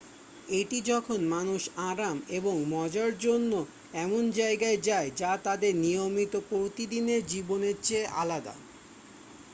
এটি যখন মানুষ আরাম এবং মজার জন্য এমন জায়গায় যায় যা তাদের নিয়মিত প্রতিদিনের জীবনের চেয়ে আলাদা